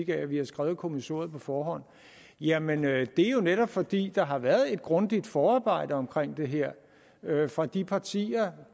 at vi havde skrevet kommissoriet på forhånd jamen det er jo netop fordi der har været et grundigt forarbejde omkring det her fra de partier